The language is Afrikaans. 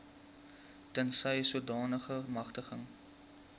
tensy sodanige magtiging